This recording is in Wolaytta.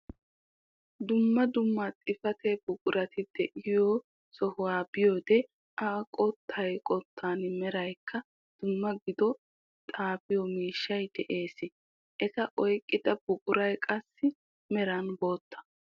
Dumma dumma xifaate buqurati de'iyoo soohuwaa be'iyoode a qottaan qottaan meraykka dumma gidido xaafiyoo miishshay de'ees. eta oyqqida buquray qassi meran bootta.